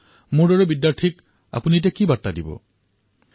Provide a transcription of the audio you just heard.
মোৰ দৰে শিক্ষাৰ্থীৰ প্ৰতি আপোনাৰ বাৰ্তা কেনে ধৰণৰ